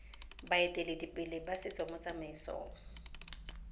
baeteledipele ba setso mo tsamaisong